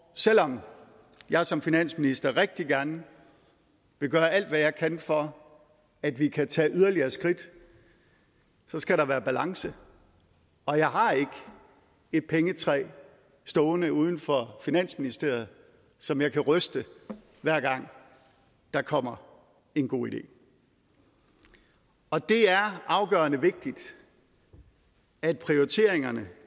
og selv om jeg som finansminister rigtig gerne vil gøre alt hvad jeg kan for at vi kan tage yderligere skridt så skal der være balance og jeg har ikke et pengetræ stående uden for finansministeriet som jeg kan ryste hver gang der kommer en god idé og det er afgørende vigtigt at prioriteringerne